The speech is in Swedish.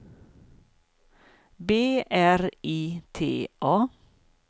B R I T A